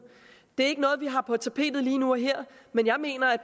det er ikke noget vi har på tapetet lige nu og her men jeg mener at